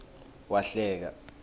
wahleka